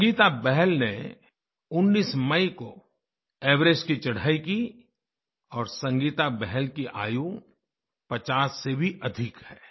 संगीता बहल ने 19 मई को एवरेस्ट की चढ़ाई की और संगीता बहल की आयु 50 से भी अधिक है